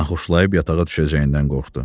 Naxoşlayıb yatağa düşəcəyindən qorxdu.